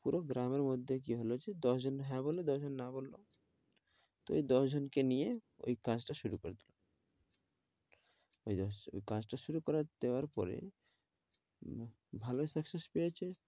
পুরো গ্রামের মধ্যে কি হল যে দশ জন হ্যাঁ বলল, দশ জন না বলল তো এই দশ জন কে নিয়ে ওই কাজটা শুরু করে দিলো ওই just কাজটা শুরু করে দেওয়ার পরে ভালোই success পেয়েছে।